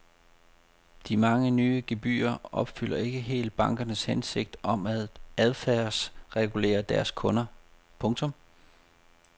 De mange nye gebyrer opfylder ikke helt bankernes hensigt om at adfærdsregulere deres kunder. punktum